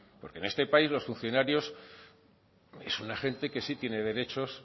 porque en este país los funcionarios es una gente que sí tiene derechos